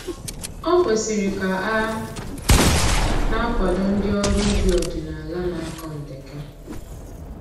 O kwesịrị ka a na-akwado ndị ọrụ ubi ọdịnaala na-akọ ndeke